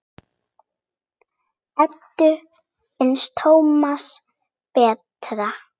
Eddu fannst Tómas betra.